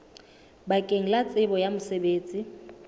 bakeng la tsebo ya mosebetsi